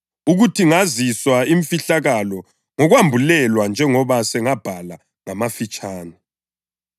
ukuthi ngaziswa imfihlakalo ngokwambulelwa njengoba sengabhala ngamafitshane.